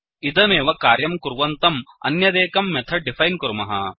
इदमेव कार्यं कुर्वन्तम् अन्यदेकं मेथड् डिफैन् कुर्मः